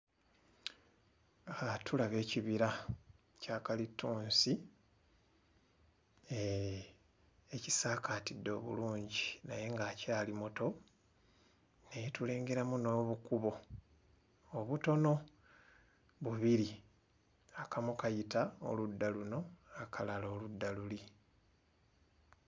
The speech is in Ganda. Tulaba ekibira kya kalittunsi, ekisaakaatidde obulungi naye ng'akyali muto, naye tulengeramu n'obukubo obutono bubiri, akamu kayita oludda luno akalala oludda luli.